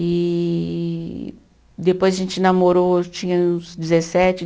E depois a gente namorou, eu tinha uns dezessete.